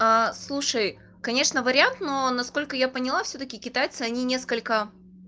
слушай конечно вариант но насколько я поняла всё-таки китайцы они несколько